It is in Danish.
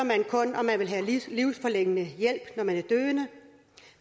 man kun om man vil have livsforlængende hjælp når man er døende